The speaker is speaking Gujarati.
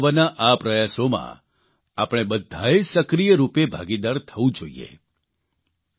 જિંદગી બચાવવાના આ પ્રયાસોમાં આપણે બધાએ સક્રિય રૂપે ભાગીદાર થવું જોઇએ